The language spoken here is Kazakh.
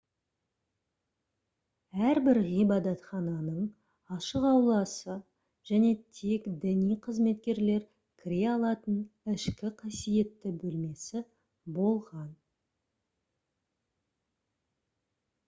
әрбір ғибадатхананың ашық ауласы және тек діни қызметкерлер кіре алатын ішкі қасиетті бөлмесі болған